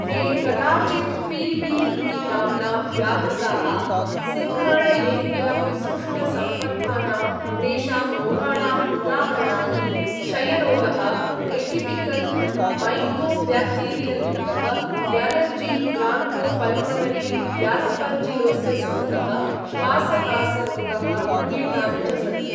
ये कदाचित् पी.बी. इति नाम्ना व्याहृताः सिङ्घाणलेप्यविसृष्टसम्बद्धानां तेषां रोगाणाम् उदाहरणानि, क्षयरोगः, एटिपिकल् मैकोब्याक्टीरियल् रोगः, यालर्जी ब्रान्कोपल्मोनरी यास्पर्जिलोसिस् रोगः, श्वासकास रोगः इत्येतानि च सन्ति।